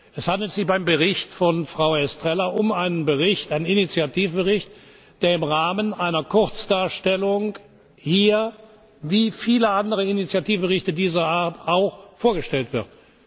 Es handelt sich beim Bericht von Frau Estrela um einen Initiativbericht, der im Rahmen einer Kurzdarstellung hier wie viele andere Initiativberichte dieser Art auch vorgestellt wird.